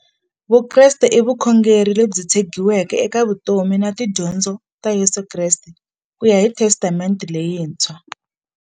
Vukreste i vukhongeri lebyi tshegiweke eka vutomi na tidyondzo ta Yesu Kreste kuya hi Testamente leyintshwa.